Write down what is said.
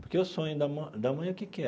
Porque o sonho da mãe da mãe que que era?